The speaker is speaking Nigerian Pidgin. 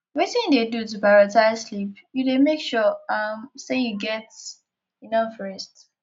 wetin you dey do to prioritze sleep you dey make sure um say you get enough rest